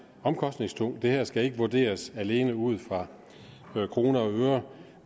omkostningstung det her skal ikke vurderes alene ud fra kroner og øre